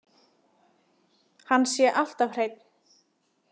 Hann sé alltaf hreinn.